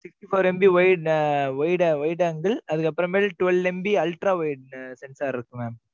sixty four MB wide, wide, wide angle அதுக்கப்புறமேல் twelve, MB ultra wide sector இருக்கு mam